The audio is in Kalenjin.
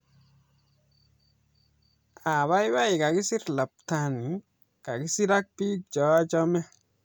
apaipai kakisir lapatani kasir ak bik cheachame